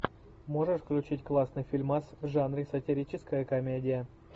можешь включить классный фильмас в жанре сатирическая комедия